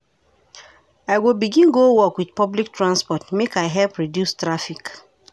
I go begin go work wit public transport make I help reduce traffic.